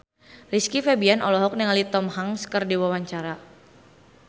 Rizky Febian olohok ningali Tom Hanks keur diwawancara